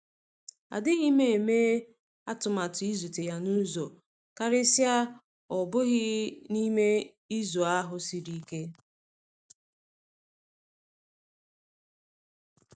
Adịghị m eme atụmatụ ịzute ya n'uzọ, karịsịa ọ bụghị n'i me izu ahụ siri ike.